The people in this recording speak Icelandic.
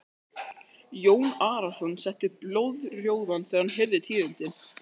Jón Arason setti blóðrjóðan þegar hann heyrði tíðindin.